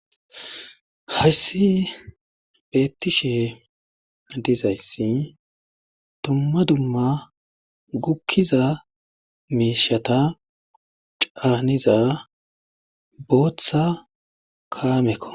Hayssi beettishe dizayssi dumma dumma guggiza miishata caaniza bootha kaameko.